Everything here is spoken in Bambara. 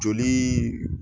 Jolii